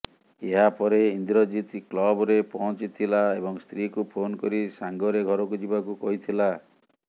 ଏହାପରେ ଇନ୍ଦ୍ରଜିତ କ୍ଲବରେ ପହଞ୍ଚିଥିଲା ଏବଂ ସ୍ତ୍ରୀଙ୍କୁ ଫୋନ୍ କରି ସାଙ୍ଗରେ ଘରକୁ ଯିବାକୁ କହିଥିଲା